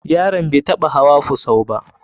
Yaron bai taɓa hawa fusau ba.